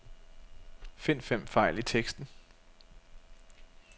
Find fem fejl i teksten.